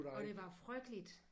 Og det var frygteligt